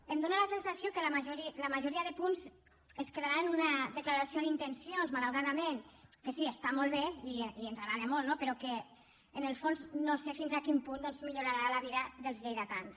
em dona la sensació que la majoria de punts es quedaran en una declaració d’intencions malauradament que sí està molt bé i ens agrada molt no però que en el fons no sé fins a quin punt doncs millorarà la vida dels lleidatans